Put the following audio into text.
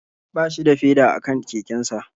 Ba shi da feda a kan kekensa